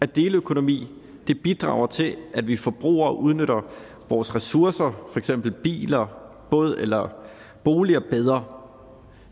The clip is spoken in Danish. deleøkonomi bidrager til at vi forbrugere udnytter vores ressourcer for eksempel biler båd eller boliger bedre